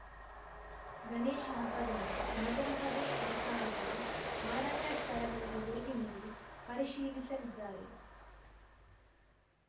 ಗಣೇಶ ಹಬ್ಬದಂದು ನಗರಸಭೆ ಅಧಿಕಾರಿಗಳು ಮಾರಾಟ ಸ್ಥಳಗಳಿಗೆ ಭೇಟಿ ನೀಡಿ ಪರಿಶೀಲಿಸಲಿದ್ದಾರೆ